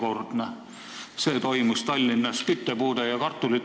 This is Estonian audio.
2009. aastal jagati Tallinnas küttepuid ja kartuleid.